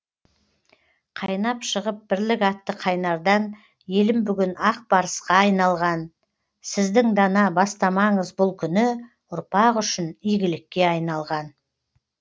қайнап шығып бірлік атты қайнардан елім бүгін ақ барысқа айналған сіздің дана бастамаңыз бұл күні ұрпақ үшін игілікке айналған